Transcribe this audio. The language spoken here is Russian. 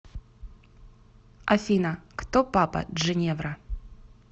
афина кто папа джиневра